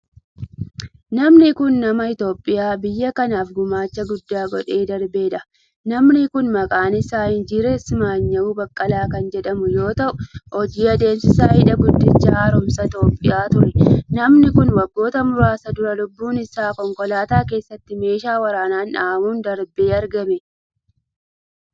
Namni kun, nama Itoophiyaa biyya kanaaf gumaacha guddaa godhee darbee dha. Namni kun maqaan isaa Injinar Simmanyaw Baqqala kan jedhamu yoo ta'u, hojii adeemsisaa hidha guddicha haaromsa Itoophiyaa ture. Namni kun, waggoota muraasa dura lubbuun isaa konkolaataa keessatti meeshaa waraanaan dhhamuun darbee argame.